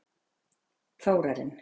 Þórarinn